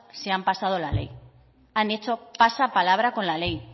se han pasado la ley han hecho pasa palabra con la ley